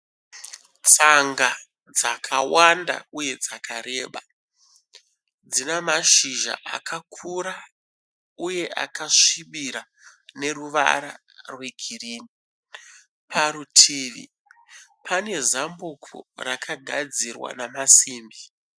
Tsanga dzakawanda uye dzakareba dzine mashizha akakura uye akasvibira neruvara rwegirini. Parutivi pane zambuko rakagadzira nemasimbi.